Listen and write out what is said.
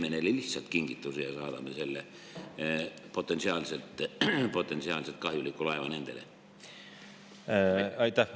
Või teeme me neile lihtsalt kingituse ja saadame selle potentsiaalselt laeva nendele?